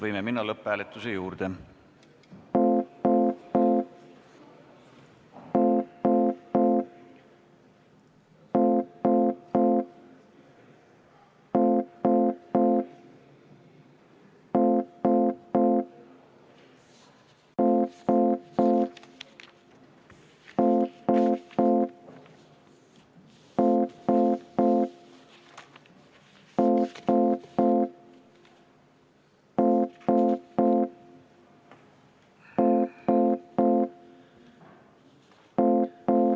Võime minna lõpphääletuse juurde.